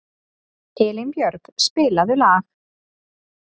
Elínbjörg, spilaðu lag.